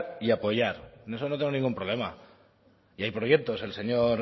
y apoyar en eso no tengo ningún problema y hay proyectos el señor